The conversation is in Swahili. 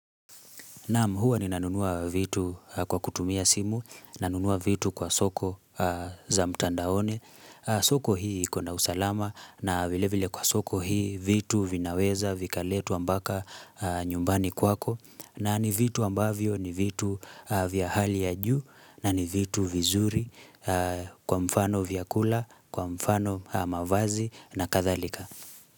Naam huwa ninanunua vitu kwa kutumia simu, nanunua vitu kwa soko za mtandaoni, soko hii ikona usalama na vile vile kwa soko hii vitu vinaweza, vikaletwa mpaka nyumbani kwako na ni vitu ambavyo ni vitu vya hali ya juu na ni vitu vizuri kwa mfano vyakula, kwa mfano mavazi na kadhalika.